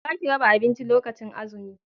za ki raba abinci lokacin azumi!